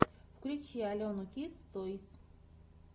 включи алену кидс тойс